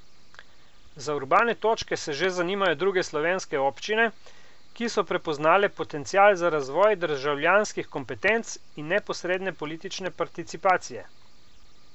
Za Urbane točke se že zanimajo druge slovenske občine, ki so prepoznale potencial za razvoj državljanskih kompetenc in neposredne politične participacije.